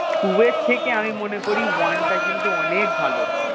two এর থেকে আমি মনে করি one টা কিন্তু অনেক ভালো